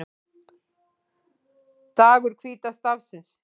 Dagur hvíta stafsins